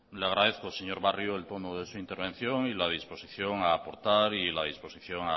le agradezco señor barrio el tono de su intervención y la disposición a aportar y la disposición